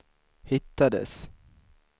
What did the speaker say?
hittades